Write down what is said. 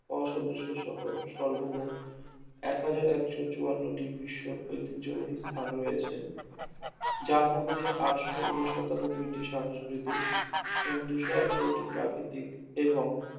অসদস্য সহ সর্বোমোট একহাজার একশ চুয়ান্নটি বিশ্ব ঐতিহ্যবাহী স্থান রয়েছে যার মধ্যে আটশ ঊন সাতানব্বইটি সাংস্কৃতিক এবং দুইশ আঠারটি প্রাকৃতিক এবং